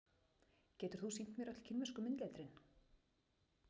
Getur þú sýnt mér öll kínversku myndletrin?